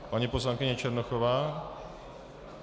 Paní poslankyně Černochová.